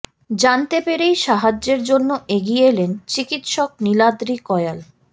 জানতে পেরেই সাহায্যের জন্য এগিয়ে এলেন চিকিৎসক নীলাদ্রি কয়াল